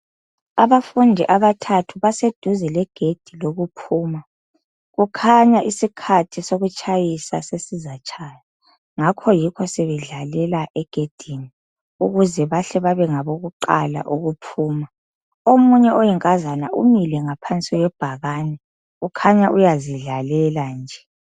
Abafundi abathathu baseduze legedi lokuphuma kukhanya isikhathi sokutshayisa sesizatshaya ngakho yikho sebedlalela egedini ukuze bahle babe ngabokuqala ukuphuma omunye oyinkazana umile ngaphansi kwebhakani ukhanya uyazidlalela nje.